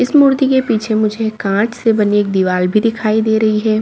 इस मूर्ति के पीछे मुझे कांच से बनी एक दीवार भी दिखाई दे रही है।